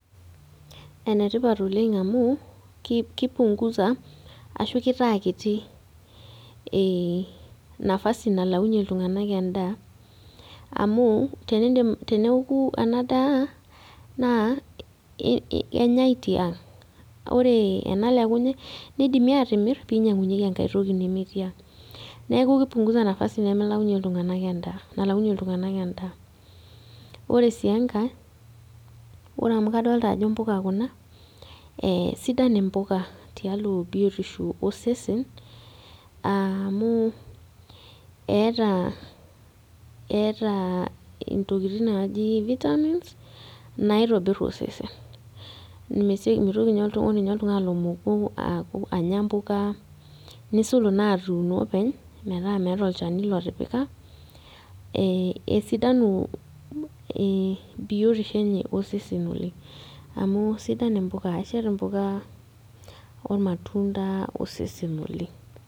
Enetipat oleng amu, ki punguza ashu kitaa kiti nafasi nalaunye iltung'anak endaa, amu teneoku enadaa, naa kenyai tiang'. Ore enalekuni, nidimi atimir, pinyang'unyeki enkae toki nemetii ang'. Neeku ki punguza nafasi nemelaunye iltung'anak endaa, nalaunye iltung'anak endaa. Ore si enkae, ore amu kadolta ajo mpuka kuna, sidan impuka tialo biotisho osesen, amu eeta ntokiting naji vitamins, naitobir osesen. Mitoki nye ore nye oltung'ani lomoku aku anya mpuka, nisul inatuuno openy metaa meeta olchani lotipika, esidanu biotisho enye osesen oleng. Amu sidan impuka, eshet impuka ormatunda osesen oleng.